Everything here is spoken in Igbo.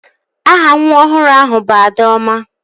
Aha nwa ọhụrụ ahụ bụ Adaọma